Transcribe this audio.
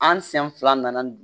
An sen fila nana ni